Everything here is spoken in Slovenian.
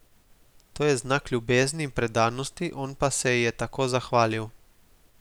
To je znak ljubezni in predanosti, on pa se ji je tako zahvalil.